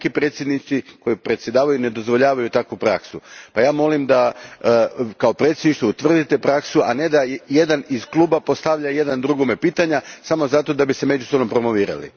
Neki predsjednici koji predsjedavaju ne dozvoljavaju takvu praksu pa ja molim da kao predsjedništvo utvrdite praksu, a ne da iz kluba postavljaju jedni drugima pitanja samo zato da bi se međusobno promovirali.